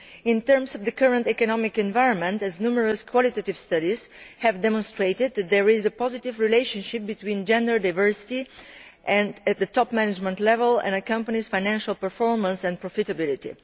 In terms of the current economic environment, as numerous qualitative studies have demonstrated, there is a positive relationship between gender diversity at top management level and a company's financial performance and profitability.